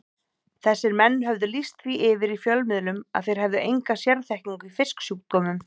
Þessir menn höfðu lýst því yfir í fjölmiðlum að þeir hefðu enga sérþekkingu í fisksjúkdómum.